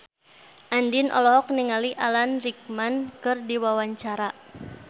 Andien olohok ningali Alan Rickman keur diwawancara